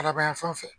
Kalaban yanfanw fɛ